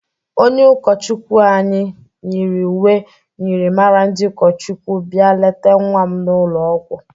Onye ụkọchukwi anyị nyịrị uwe myịrịmara ndị ụkọchikwu bia lete nwa m n'ụlọ ọgwọ.